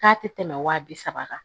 K'a tɛ tɛmɛ wa bi saba kan